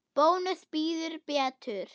Bónus býður betur.